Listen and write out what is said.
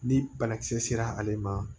Ni banakisɛ sera ale ma